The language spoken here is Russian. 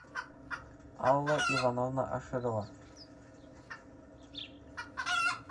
алла ивановна аширова